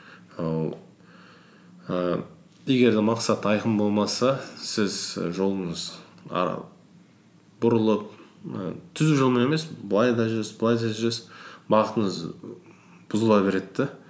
ііі егер де мақсат айқын болмаса сіз жолыңыз бұрылып і түзу жолмен емес былай да жүресіз былай да жүресіз бағытыңыз бұзыла береді де